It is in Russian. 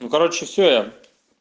ну короче все я